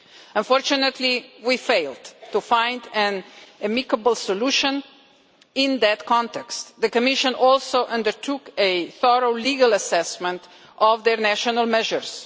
Unfortunately, we failed to find an amicable solution in that context. The Commission also undertook a thorough legal assessment of their national measures.